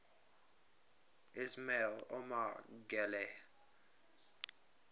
ismail omar guelleh